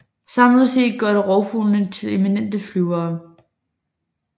Samlet set gør det rovfuglene til eminente flyvere